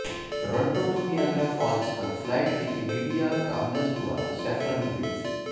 Toronto ਤੋਂ Niagara Falls ਤੱਕ flight Wikimedia Commons ਦੁਆਰਾ ਸੇਫਰਨ ਬਲੇਜ਼